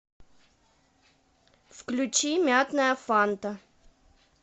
включи мятная фанта